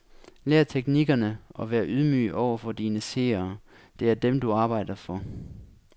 Lær teknikkerne og vær ydmyg over for dine seere, det er dem, du arbejder for.